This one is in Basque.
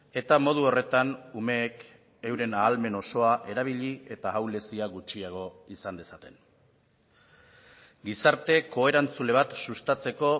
eta modu horretan umeek euren ahalmen osoa erabili eta ahulezia gutxiago izan dezaten gizarte koerantzule bat sustatzeko